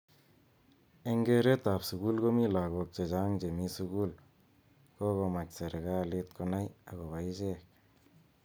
Eng keret ab sukul komi lakok chechang chemi sukul kokomach serekalit konai akobo ichek.